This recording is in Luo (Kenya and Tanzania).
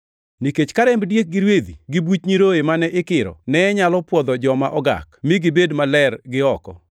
Nikech ka remb diek gi rwedhi gi buch nyiroye mane ikiro ne nyalo pwodho joma ogak, mi gibed maler gi oko,